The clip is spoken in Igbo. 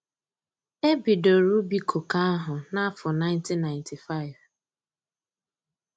E bidoro ubi koko áhụ̀ n'afọ 1995